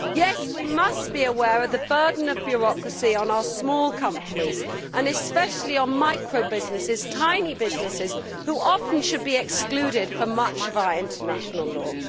Yes, we must be aware of the burden of bureaucracy on our small companies and especially on micro businesses tiny businesses which, in many cases, should be excluded from much of our international law.